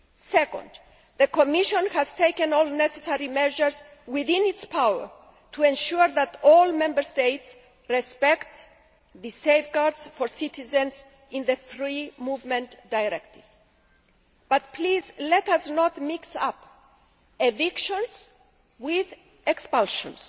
Secondly, the Commission has taken all necessary measures within its power to ensure that all Member States respect the safeguards for citizens in the Free Movement Directive, but please let us not mix up evictions with expulsions.